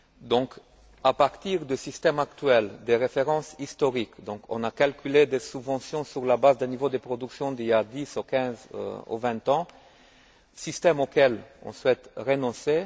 Donc, à partir du système actuel des références historiques, on a calculé des subventions sur la base d'un niveau de production d'il y a 10 ou 15 ou 20 ans, système auquel on souhaite renoncer